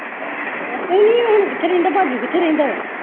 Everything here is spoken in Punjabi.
ਨਹੀਂ ਨਹੀਂ ਉਹ ਹੁਣ ਕਿੱਥੇ ਰਹਿੰਦਾ ਭਜੁ ਕਿੱਥੇ ਰਹਿੰਦਾ ਵਾ